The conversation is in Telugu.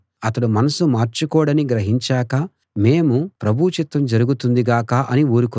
అతడు మనసు మార్చుకోడని గ్రహించాక మేము ప్రభువు చిత్తం జరుగుతుంది గాక అని ఊరుకున్నాం